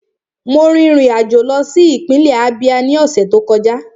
Mo rin ìrìn àjò lọ sí ìpínlẹ̀ Ábíá ní ọ̀sẹ̀ tó kọjá